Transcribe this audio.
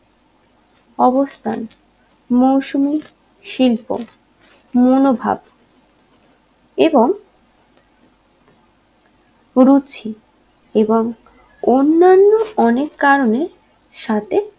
অবস্থান মৌসুমী শিল্প মনোভাব এবং রুচি এবং অন্নান্য অনেক কারণে সাথে